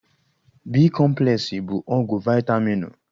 B-kọmplesị bụ ọgwụ vaịtaminụ.